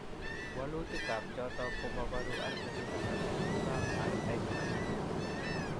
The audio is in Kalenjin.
Walutikap choton, ko moboru RBCs alak tugulap Rh antigens.